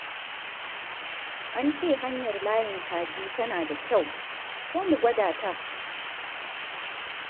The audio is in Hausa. An ce hanyar Layin Kaji tana da kyau, ko mu gwada ta?